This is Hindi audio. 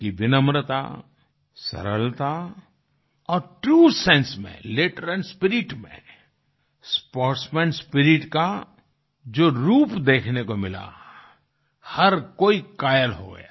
उनकी विनम्रता सरलता और ट्रू सेंसे में लेटर एंड स्पिरिट में स्पोर्ट्समैन स्पिरिट का जो रूप देखने को मिला हर कोई कायल हो गया